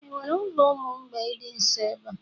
enwere ulo umu mgbei di nso ebe a?